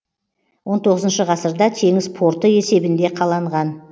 он тоғызыншы ғасырда теңіз порты есебінде қаланған